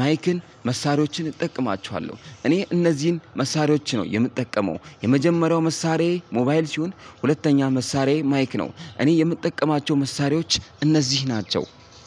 ማይክን መሳሪያዎችን እጠቀማችኋለሁ። እኔ እነዚህን መሳሪያዎች ነው የምጠቀመው የመጀመሪያው መሳሪያዬ ሞባይል ሲሆን ሁለተኛ መሳሪያዬ ማይክ ነው እኔ የምጠቀማቸው መሳሪያዎች እነዚህ ናቸው።